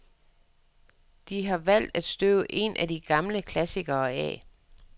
De har valgt at støve en af deres gamle klassikere af.